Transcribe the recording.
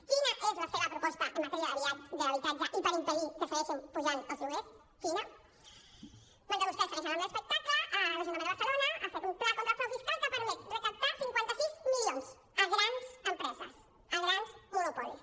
quina és la seva proposta en matèria d’habitatge i per impedir que segueixin pujant els lloguers quina mentre vostès segueixen amb l’espectacle l’ajuntament de barcelona ha fet un pla contra el frau fiscal que ha permès recaptar cinquanta sis milions a grans empreses a grans monopolis